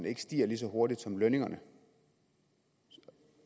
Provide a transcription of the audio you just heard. ikke stiger lige så hurtigt som lønningerne